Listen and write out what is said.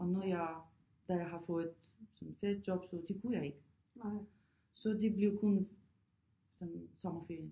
Og når jeg da jeg har fået sådan fast job så det kunne jeg ikke så det blev kun sådan sommerferie